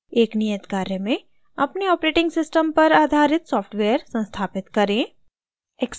एक नियत कार्य में अपने ऑपरेटिंग सिस्टम पर आधारित सॉफ्टवेयर संस्थापित करें